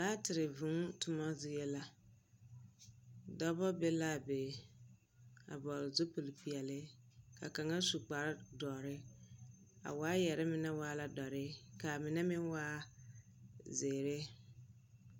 Laatere vũũ toma zie la. Dͻbͻ be le a be, a vͻgele zupili peԑle, ka kaŋa su kpare dͻre. A waayԑre mine waa dͻre ka a mine meŋ waa zeere.